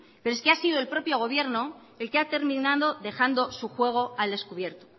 pero es que ha sido el propio gobierno el que ha terminado dejando su juego al descubierto